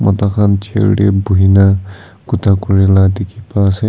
mota khan chair tae buhikaena khota kurila dikhipa ase.